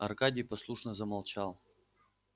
аркадий послушно замолчал